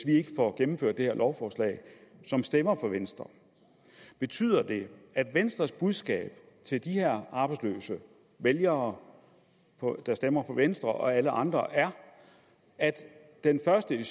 ikke får gennemført det her lovforslag som stemmer på venstre betyder det at venstres budskab til de her arbejdsløse vælgere der stemmer på venstre og alle andre er at den første